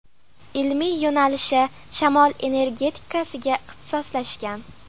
Ilmiy yo‘nalishi shamol energetikasiga ixtisoslashgan.